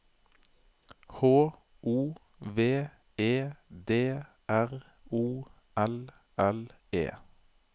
H O V E D R O L L E